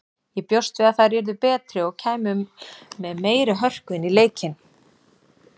Ég bjóst við að þær yrðu betri og kæmu með meiri hörku inn í leikinn.